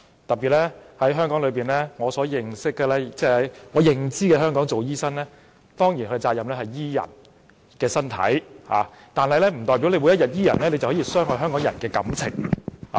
特別是，以我的認知，在香港擔任醫生，其責任是醫治病人的身體，但醫治病人不代表就可以傷害香港人的感情。